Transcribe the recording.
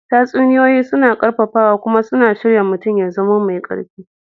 Tatsuniyoyi suna ƙarfafawa kuma suna shirya mutum ya zama mai ƙarfi.